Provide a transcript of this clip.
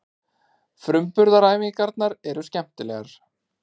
Framburðaræfingarnar eru skemmtilegar.